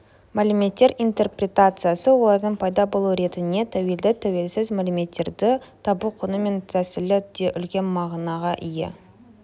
мәліметтер интерпретациясы олардың пайда болу ретіне тәуелді тәуелсіз мәліметтерді табу құны мен тәсілі де үлкен мағынаға ие